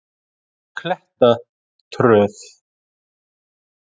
Klettatröð